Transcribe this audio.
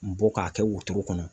Bɔ k'a kɛ wotoro kɔnɔ.